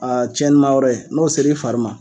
A cɛnni ma yɔrɔ ye n'o ser'i fari ma.